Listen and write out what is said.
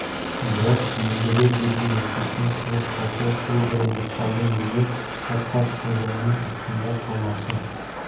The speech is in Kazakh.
бірақ ендігі жерде мектептен шығып қалса сол бір мысқалдың өзі қат-қат тозаңның астында қалмақшы